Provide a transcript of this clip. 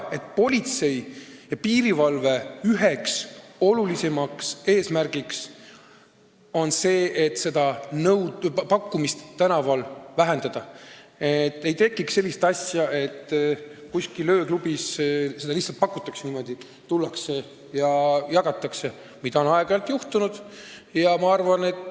Politsei ja piirivalve üks olulisemaid eesmärke on seda pakkumist tänaval vähendada, et ei tekiks sellist asja, et kuskil ööklubis lihtsalt tullakse ja jagatakse narkootikume, mida on aeg-ajalt juhtunud.